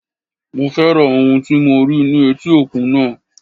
Mo féràn ohun tí mo rí ní etí òkun náà.